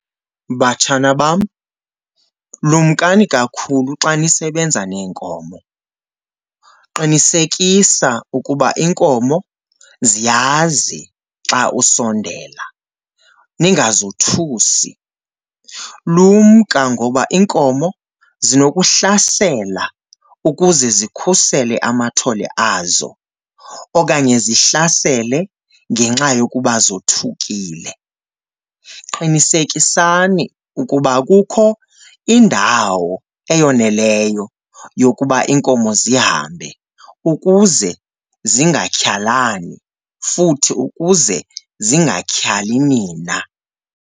Batshana bam, lumkani kakhulu xa nisebenza neenkomo. Qinisekisa ukuba iinkomo ziyazi xa usondela, ningazothusi. Lumka ngoba iinkomo zinokuhlasela ukuze zikhusele amathole azo okanye zihlasele ngenxa yokuba zothukile. Qinisekisani ukuba kukho indawo eyoneleyo yokuba iinkomo zihambe ukuze zingatyhalani futhi ukuze zingatyhali nina.